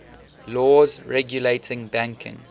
laws regulating banking